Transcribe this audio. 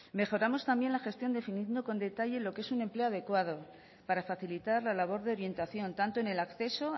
mejoramos también la gestión definiendo con detalle lo que es un empleo adecuado para facilitar la labor de orientación tanto en el acceso